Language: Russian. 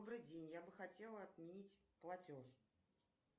добрый день я бы хотела отменить платеж